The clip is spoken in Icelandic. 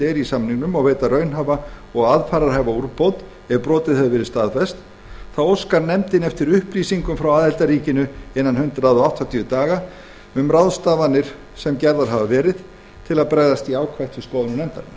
eru í samningnum og veita raunhæfa og aðfararhæfa úrbót ef brot hefur verið staðfest þá óskar nefndin eftir upplýsingum frá aðildarríkinu innan hundrað áttatíu daga um ráðstafanir sem gerðar hafa verið til að fylgja eftir skoðunum